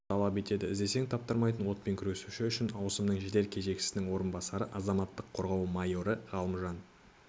талап етеді іздесең таптырмайтын отпен күресуші үшінші ауысымның жедел кезекшісінің орынбасары азаматтық қорғау майоры ғалымжан